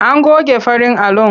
An goge farin alon.